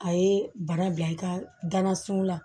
A ye bana bila i ka gana sun na